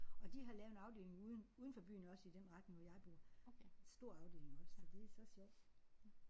Og de har lavet en afdeling uden uden for byen også i den retning hvor jeg bor. Stor afdeling også så det er så sjovt